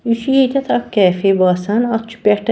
یہِ چُھ ییٚتٮ۪ھ اکھ کیفے .باسان اَتھ چُھ پٮ۪ٹھہٕ